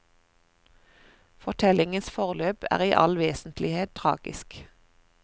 Fortellingens forløp er i all vesentlighet tragisk.